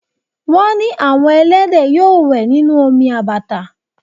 Wọ́n ní àwọn ẹlẹ́dẹ̀ yóò wẹ̀ nínú omi àbàtà